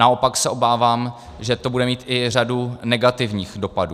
Naopak se obávám, že to bude mít i řadu negativních dopadů.